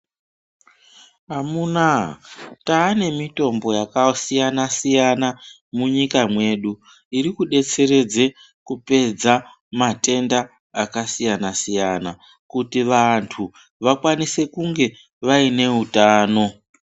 Amuna, tane mitombo yakasiyana-siyana munyika mwedu iri kudetseredze kupedza matenda akasiyana-siyana kuti vantu vakwanise kunge vane utano.